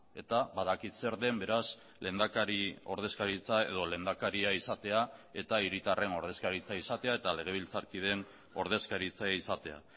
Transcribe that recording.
eta badakit zer den beraz lehendakari ordezkaritza edo lehendakaria izatea eta hiritarren ordezkaritza izatea eta legebiltzarkideen ordezkaritza izatea